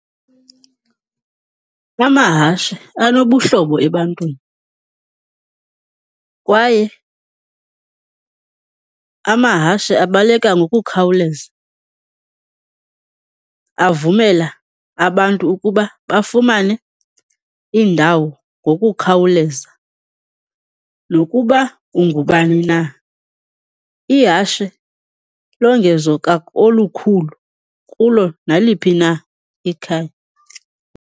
Amahashe anobuhlobo ebantwini kwaye amahashe abaleka ngokukhawuleza, avumela abantu ukuba bafumane iindawo ngokukhawuleza. Nokuba ungubani na, ihashe longezo olukhulu kulo naliphi na ikhaya